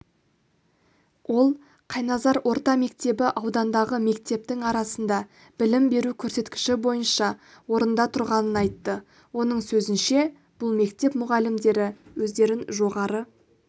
ол қайназар орта мектебі аудандағы мектептің арасында білім беру көрсеткіші бойынша орында тұрғанын айтты оның сөзінше бұл мектеп мұғалімдері өздерін жоғары